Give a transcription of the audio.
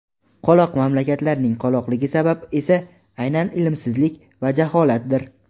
Qoloq mamlakatlarning qoloqligi sabab esa aynan ilmsizlik va jaholatdir.